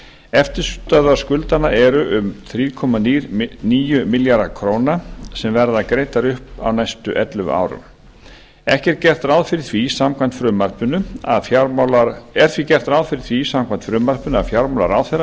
eftirstöðvar skuldanna eru um þrjú komma níu milljarðar króna sem verða greiddar upp á næstu ellefu árum gert er ráð fyrir því samkvæmt frumvarpinu að fjármálaráðherra